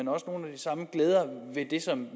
de samme glæder ved det som